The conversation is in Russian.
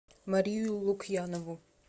марию лукьянову